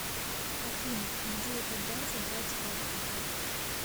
афина где и когда забрать карту